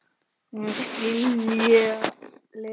Nú skilja leiðir.